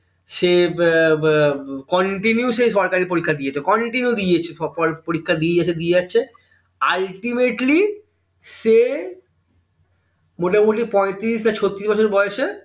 সে বা বা continue সে সরকারী পরীক্ষা দিয়ে যাচ্ছে continue দিয়ে যাচ্ছে সব পর পরীক্ষা দিয়ে যাচ্ছে ultimately সে পঁয়ত্রিশ না ছত্রিশ বছর বয়সে